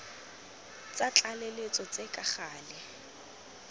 tsa tlaleletso tse ka gale